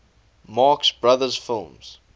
marx brothers films